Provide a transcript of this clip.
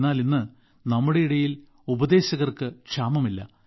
എന്നാൽ ഇന്ന് നമ്മുടെ ഇടയിൽ ഉപദേശകർക്ക് ക്ഷാമമില്ല